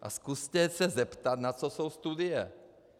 A zkuste se zeptat, na co jsou studie.